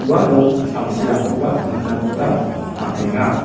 uano samsirangkoba nikna gita man·enga.